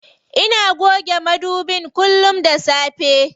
Ina goge madubin kullum da safe.